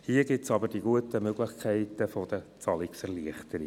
Hier gibt es die guten Möglichkeiten der Zahlungserleichterungen.